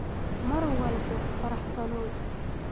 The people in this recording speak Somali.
Mar walbo faraxsanow.